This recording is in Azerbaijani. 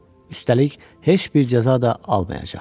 Üstəlik, heç bir cəza da almayacaqdı.